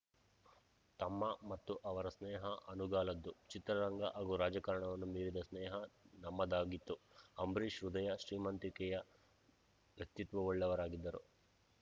ತಮ್ಮ ಮತ್ತು ಅವರ ಸ್ನೇಹ ಅನುಗಾಲದ್ದು ಚಿತ್ರರಂಗ ಹಾಗೂ ರಾಜಕಾರಣವನ್ನು ಮೀರಿದ ಸ್ನೇಹ ನಮ್ಮದಾಗಿತ್ತು ಅಂಬರೀಷ್‌ ಹೃದಯ ಶ್ರೀಮಂತಿಕೆಯ ವ್ಯಕ್ತಿತ್ವವುಳ್ಳವರಾಗಿದ್ದರು